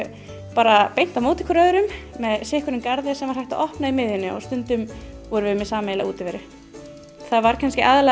bara beint á móti hvor öðrum með sitt hvorn garðinn sem var hægt að opna í miðjunni og stundum vorum við með sameiginlega útiveru það var kannski aðallega